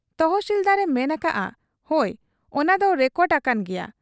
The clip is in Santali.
ᱛᱮᱦᱥᱤᱞᱫᱟᱨ ᱮ ᱢᱮᱱ ᱟᱠᱟᱜ ᱟ, ᱦᱚᱭ ᱚᱱᱟ ᱫᱚ ᱨᱮᱠᱚᱰ ᱟᱠᱟᱱ ᱜᱮᱭᱟ ᱾